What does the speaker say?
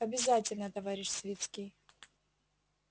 обязательно товарищ свицкий